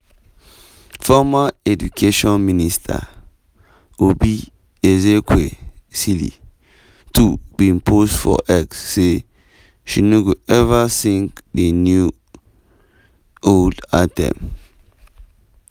former education minister oby ezekwesili too bin post for x say she no go ever sing di new-old anthem.